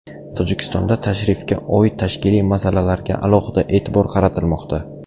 Tojikistonda tashrifga oid tashkiliy masalalarga alohida e’tibor qaratilmoqda.